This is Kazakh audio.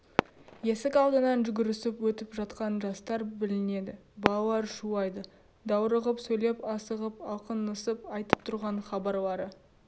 есік алдынан жүгірісіп өтіп жатқан жастар білінеді балалар шулайды даурығып сөйлеп асығып алқынысып айтып тұрған хабарлары